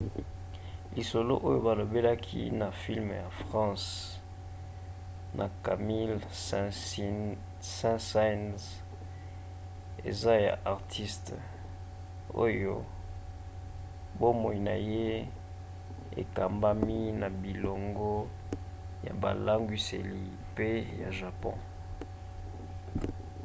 lisolo oyo balobelaki na filme ya france na camille saint-saens eza ya artiste oyo bomoi na ye ekambami na bolingo ya bilangwiseli pe ya japon.